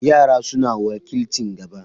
Yara suna wakilcin gaba.